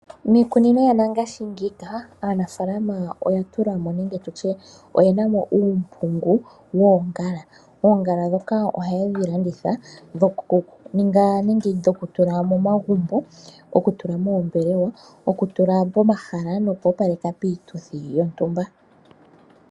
Miikunino yongashingeyi aanafaalama oye na mo uumpungu woongala. Oongala ndhoka ohaye dhi landitha dhokuninga nenge dhokutula momagumbo, okutula moombelewa, okutula pomahala nokuopaleka piituthi yontumba.